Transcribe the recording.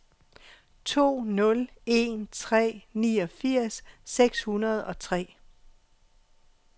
to nul en tre niogfirs seks hundrede og tre